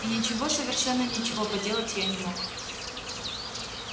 и ничего совершенно ничего поделать я не мог